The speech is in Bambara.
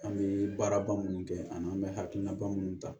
An bɛ baaraba minnu kɛ ani an bɛ hakilina ba minnu ta